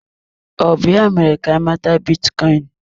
Ọ bụ ya mere ka anyị mata bitcoin?